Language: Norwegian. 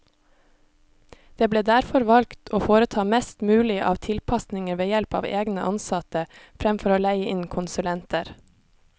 Det ble derfor valgt å foreta mest mulig av tilpasninger ved help av egne ansatte, fremfor å leie inn konsulenter.